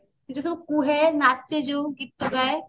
ସିଏ ଯୋଉ ସବୁ କୁହେ ନାଚେ ଯୋଉ ଗୀତ ଗାଏ